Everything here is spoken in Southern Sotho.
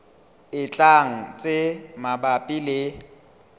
e tlang tse mabapi le